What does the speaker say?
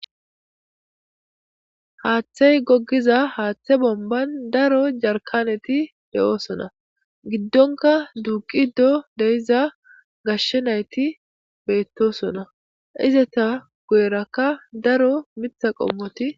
Haaththey goggiza haaththe bomban daro jarkaneti de7oosona giddona duuqiizo deyiza gashshe nayti beettosona, izata goyerakka daro mitha qommoti..